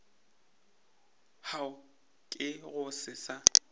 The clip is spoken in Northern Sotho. hwa ke go se sa